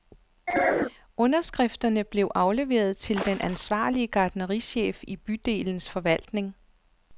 Underskrifterne blev afleveret til den ansvarlige gartnerichef i bydelens forvaltning.